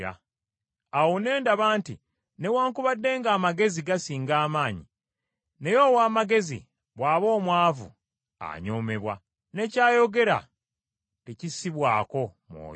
Awo ne ndaba nti newaakubadde ng’amagezi gasinga amaanyi, naye ow’amagezi bw’aba omwavu, anyoomebwa, ne ky’ayogera tekissibwako mwoyo.